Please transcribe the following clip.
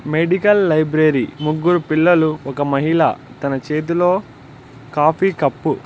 medical library ముగ్గురు పిల్లలు ఒక మహిళ తన చేతిలో కాఫీ కప్--